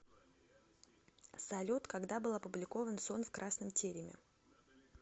салют когда был опубликован сон в красном тереме